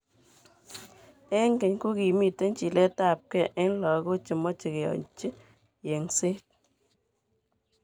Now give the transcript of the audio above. Eng keny kokimiten chiletabge eng lagok chemoche keyochi yegset.